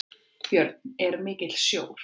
Björn: Er mikill sjór?